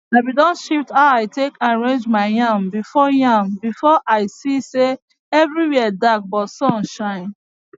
i been don shift how i take arrange my yam before yam before as i see say everywhere dark but sun shine